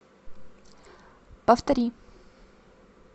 повтори